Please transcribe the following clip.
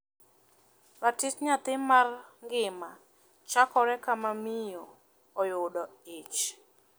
Ratich nyathi mar ngima chakore kama miyo oyudo ich.